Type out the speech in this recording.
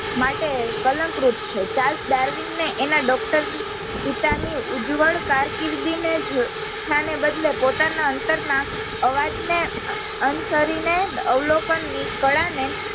માટે કલન્ક રૂપ છે ચાલ્સ ડાર્વિન ને અને doctor પિતા ની ઉજ્વળ કારકિર્દી ને જ સ્થાનને બદલે પોતાના અંતર ના અવાજ ને અ અંશારી ને અવલોકનની કળાને